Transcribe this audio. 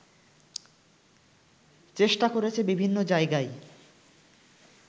চেষ্টা করেছে বিভিন্ন জায়গায়